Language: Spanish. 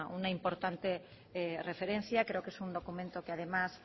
una importante referencia creo que es un documento que además